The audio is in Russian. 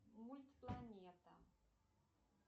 мультпланета